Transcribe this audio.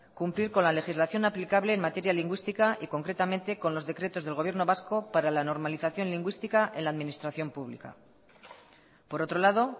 cumplir con la legislación aplicable en materia lingüística y concretamente con los decretos del gobierno vasco para la normalización lingüística en la administración pública por otro lado